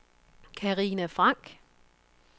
Karina Frank